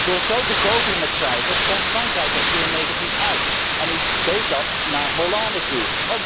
Door zo te goochelen met cijfers kwam Frankrijk er zeer negatief uit en u deed dat naar Hollande toe.